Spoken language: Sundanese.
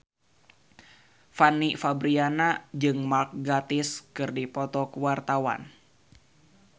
Fanny Fabriana jeung Mark Gatiss keur dipoto ku wartawan